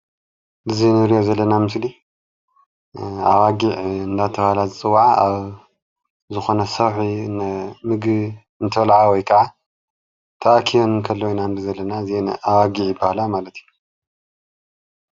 እዚ እንሪኦ ዘለና ምስሊ ኣባጊዕ እናተባህላ ዝፅውዓ ኣብ ዝኾነ ሰውሒ ንምግቢ እንትበልዓ ወይ ከዓ ተኣኪበን እንከለዋ ኢና ንሪአን ዘለና እዚአን ኣባጊዕ ይበሃላ ማለት እዩ።